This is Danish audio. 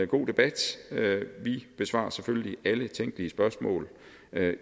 god debat vi besvarer selvfølgelig alle tænkelige spørgsmål